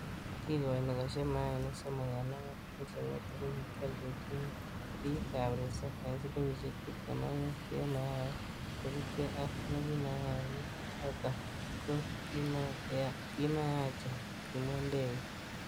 'Kikoini kosheb mayainik somok en angwan ,kochekingetu ko kikioldechini bik ab resop en silingisiek tibtem ak mut en mayait, kosiibge ak ne ki mayaini choton ko kiranmanachen,''kimwa Ndege